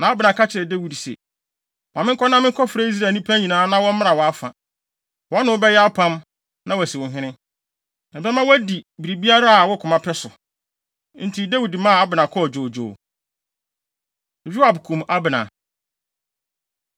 Na Abner ka kyerɛɛ Dawid se, “Ma menkɔ na menkɔfrɛ Israel nnipa nyinaa na wɔmmra wʼafa. Wɔne wo bɛyɛ apam, na wɔasi wo hene. Na ɛbɛma woadi biribiara a wo koma pɛ so.” Enti Dawid maa Abner kɔɔ dwoodwoo. Yoab Kum Abner